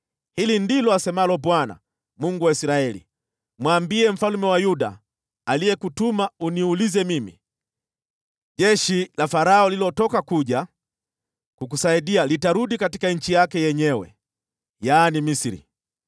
“Hili ndilo asemalo Bwana , Mungu wa Israeli: Mwambie mfalme wa Yuda aliyekutuma uniulize mimi, ‘Jeshi la Farao lililotoka kuja kukusaidia litarudi katika nchi yake yenyewe, yaani Misri.